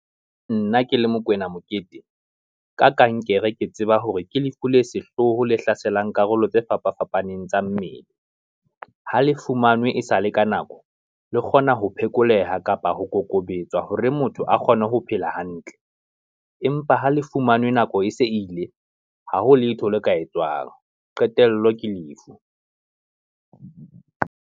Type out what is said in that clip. Nna ke le Mokoena Mokete, ka kankere ke tseba hore ke lefu le sehlooho le hlaselang karolo tse fapa fapaneng tsa mmele. Ha le fumanwe e sale ka nako, le kgona ho phekoleha kapa ho kokobetswa hore motho a kgone ho phela hantle, empa ha le fumanwe nako e se ile, ha ho letho le ka etswang, qetello ke lefu.